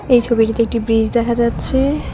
এই ছবিটিতে একটি ব্রিজ দেখা যাচ্ছে-এ।